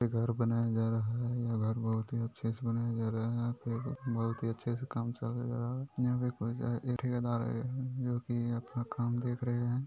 एक घर बनाया जा रहा है या घर बहुत अच्छे से बनाया जा रहा है बहुत ही अच्छे से ही काम चल रहा है यह ज खड़ा है यह ठेकेदार है जो कि अपना काम देख रहे हैं।